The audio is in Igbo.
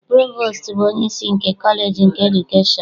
Provostu bụ onyeisi nke kọleji nke edukeshọn.